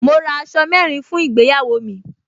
Mo ra ẹ̀ṣọ́ mẹ́rin fún ìgbéyàwó mi